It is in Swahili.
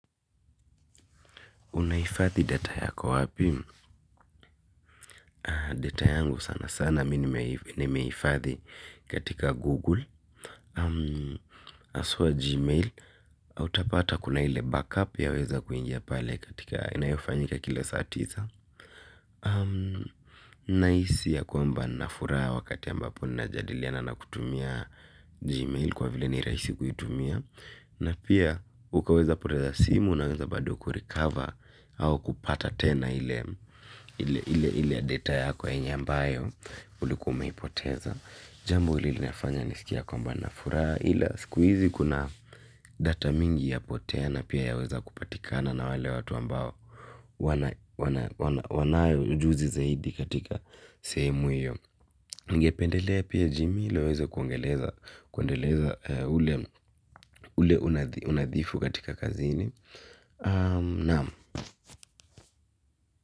Unaifadhi data yako wapi? Data yangu sana sana. Minimeifathi katika Google. Aswa Gmail. Autapata kuna ile backup ya weza kuingia pale katika inayofanyika kile saa tisa. Nahisi ya kwamba na furaha wakati ambapo na jadiliana na kutumia gmail kwa vile ni raisi kutumia napia ukaweza kupoteza simu naweza bado kurecover au kupata tena ile ile data yako yenye ambayo uliko mehipoteza. Jambu ili nafanya nisikia kwamba na furaa. Hila siku hizi kuna data mingi ya potea na pia yaweza kupatikana na wale watu ambao wanao ujuzi zaidi katika sehemu hiyo. Ningependelea pia jimi laweza kuangeleza ule unadhifu katika kazini.